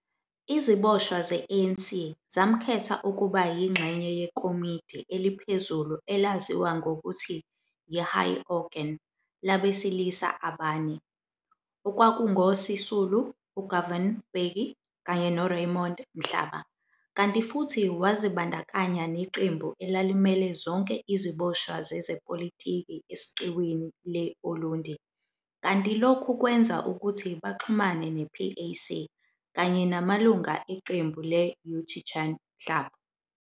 Iziboshwa ze-ANC, zamkhetha ukuba yingxenye yekomidi eliphezulu elaziwa ngokutyi yi-"High Organ" labesilisa abane, okwakungo-Sisulu, uGovan Mbeki, kanye no-Raymond Mhlaba, kanti futhi wazibandanya neqembu elalimele zonke iziboshwa zezepolitiki esiqiwini le-Ulundi, kanti lokhku kwenza ukuthi baxhumane ne-PAC, kanye namalunga eqembu le-Yu Chi Chan Club.